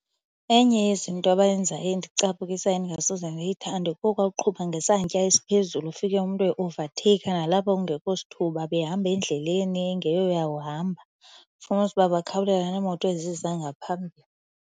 Enye yezinto abayenzayo endicaphukisayo endingasoze ndiyithande kokwakuqhuba ngesantya esiphezulu ufike umntu e-overtaker nalapho kungekho sithuba behamba endleleni engeyoyakuhamba. Fumanise uba bakhawulelana neemoto eziza ngaphambili.